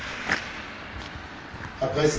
Herr Präsident, liebe Kollegen!